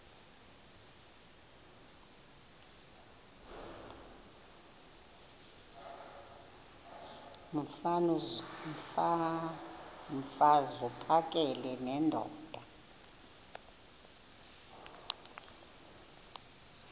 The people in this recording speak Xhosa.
mfaz uphakele nendoda